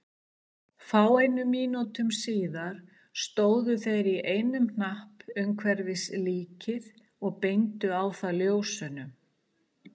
Fáeinum mínútum síðar stóðu þeir í einum hnapp umhverfis líkið og beindu á það ljósunum.